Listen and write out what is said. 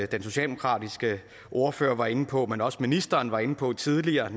den socialdemokratiske ordfører var inde på men også ministeren var inde på tidligere har